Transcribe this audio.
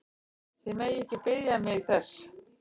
Þið megið ekki biðja mig þess!